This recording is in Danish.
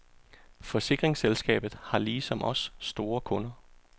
Forsikringsselskabet har ligesom os store kunder.